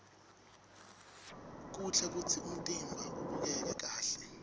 kuhle kutsi umtimba ubukeke kahle